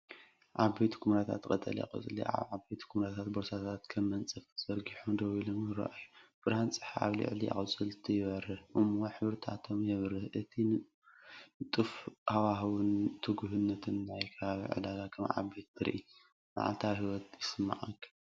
ዓበይቲ ኵምራታት ቀጠልያ ቆጽሊ ኣብ ዓበይቲ ኵምራታት ቦርሳታት፡ ከም መንጸፍ ተዘርጊሖም ደው ኢሎም ይረኣዩ። ብርሃን ጸሓይ ኣብ ልዕሊ ኣቝጽልቲ ይበርህ እሞ ሕብርታቶም የብርህ:እቲ ንጡፍ ሃዋህውን ትጉህነትን ናይቲ ከባቢ ዕዳጋ ከም ዓቢይ ትርኢት መዓልታዊ ህይወት ይስምዓካ።